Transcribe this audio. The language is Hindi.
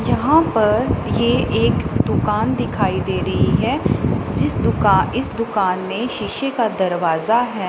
यहां पर ये एक दुकान दिखाई दे रही है जिस दुका इस दुकान में शीशे का दरवाजा है।